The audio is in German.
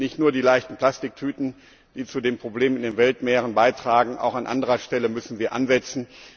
Denn es sind nicht nur die leichten Plastiktüten, die zu den Problemen in den Weltmeeren beitragen, auch an anderer Stelle müssen wir ansetzen.